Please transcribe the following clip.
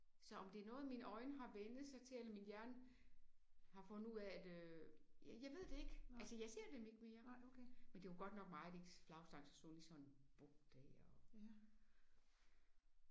Så om det er noget mine øjne var vænnet sig til eller min hjerne har fundet ud af at øh jeg jeg ved det ikke altså jeg ser dem ikke mere. Men det var godt nok meget ens flagstang så stod lige i sådan en buk der